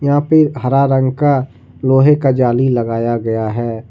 यहा पे हरा रंग का लोहे का जाली लगाया गया है।